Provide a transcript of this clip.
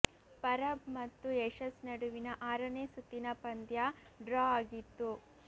ಪರಬ್ ಮತ್ತು ಯಶಸ್ ನಡುವಿನ ಆರನೇ ಸುತ್ತಿನ ಪಂದ್ಯ ಡ್ರಾ ಆಗಿತ್ತು